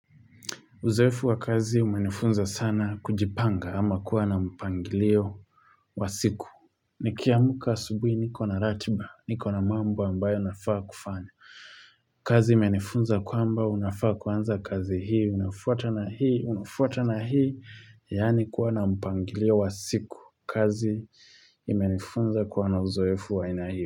Uzoefu wa kazi umenifunza sana kujipanga ama kuwa na mpangilio wa siku. Nikia muka asubuhi niko na ratiba, niko na mambo ambayo nafaa kufanya. Kazi umenifunza kwa mba, unafaa kwanza kazi hii, unafuata na hii, unafuata na hii, yani kuwa na mpangilio wa siku. Kazi imenifunza kuwa na uzoefu wa ina hii.